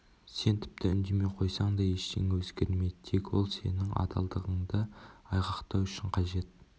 сен тіпті үндемей қойсаң да ештеңе өзгермейді тек ол сенің адалдығыңды айғақтау үшін қажет